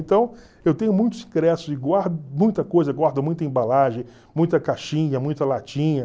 Então, eu tenho muitos ingressos e guardo muita coisa, guardo muita embalagem, muita caixinha, muita latinha.